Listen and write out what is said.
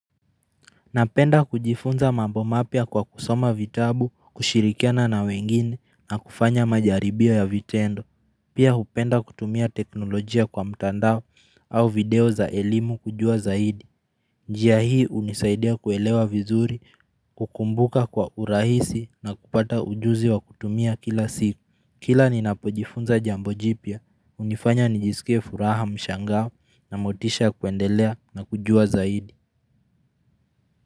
Napenda kujifunza mambo mapya kwa kusoma vitabu, kushirikiana na wengine na kufanya majaribio ya vitendo. Pia hupenda kutumia teknolojia kwa mtandao au video za elimu kujua zaidi. Njia hii hunisaidia kuelewa vizuri, kukumbuka kwa urahisi na kupata ujuzi wa kutumia kila siku. Kila ninapojifunza jambo jipya, hunifanya nijiskie furaha mshangao na motisha ya kuendelea na kujua zaidi.